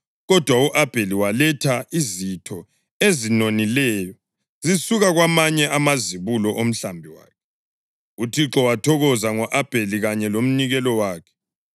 Kodwa u-Abheli waletha izitho ezinonileyo zisuka kwamanye amazibulo omhlambi wakhe. UThixo wathokoza ngo-Abheli kanye lomnikelo wakhe,